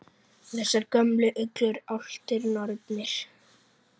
Þessar gömlu uglur, álftir, nornir?